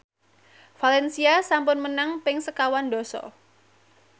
valencia sampun menang ping sekawan dasa